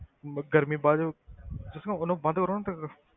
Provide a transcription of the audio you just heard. ਅਮ ਗਰਮੀ ਵੱਧ ਤੁਸੀਂ ਨਾ ਉਹਨੂੰ ਬੰਦ ਕਰੋ ਨਾ ਫਿਰ,